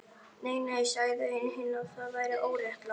Nei, nei sagði einn hinna, það væri óréttlátt